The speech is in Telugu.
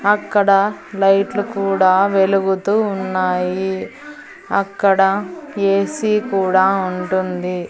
అక్కడ లైట్ లు కూడా వెలుగుతూ ఉన్నాయి అక్కడ ఏ_సీ కూడా ఉంటుంది.